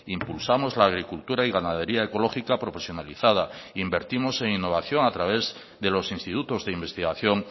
impulsamos la agricultura y ganadería ecológica profesionalizada invertimos en innovación a través de los institutos de investigación